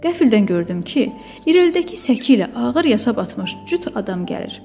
Qəfildən gördüm ki, irəlidəki səki ilə ağır yasa batmış cüt adam gəlir.